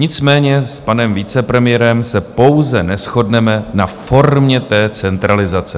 Nicméně s panem vicepremiérem se pouze neshodneme na formě té centralizace.